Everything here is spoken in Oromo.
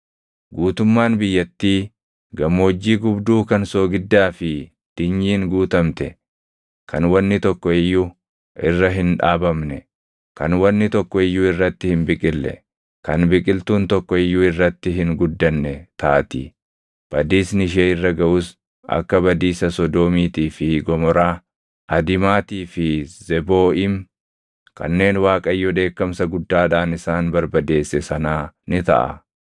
Guutummaan biyyattii gammoojjii gubduu kan soogiddaa fi dinyiin guutamte kan wanni tokko iyyuu irra hin dhaabamne, kan wanni tokko iyyuu irratti hin biqille, kan biqiltuun tokko iyyuu irratti hin guddanne taati. Badiisni ishee irra gaʼus akka badiisa Sodoomiitii fi Gomoraa, Adimaatii fi Zebooʼiim kanneen Waaqayyo dheekkamsa guddaadhaan isaan barbadeesse sanaa ni taʼa.